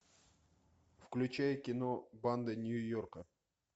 включай кино банды нью йорка